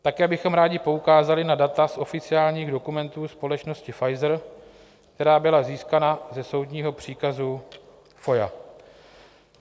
Také bychom rádi poukázali na data z oficiálních dokumentů společnosti Pfizer, která byla získána ze soudního příkazu FOIA.